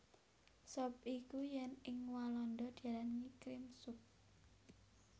Sop iku yèn ing Walanda diarani Cream Soup